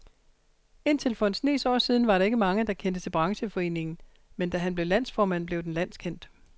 Indtil for en snes år siden var der ikke mange, der kendte til brancheforeningen, men da han blev landsformand, blev den landskendt.